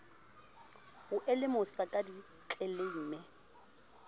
e o lemosa ka ditleleime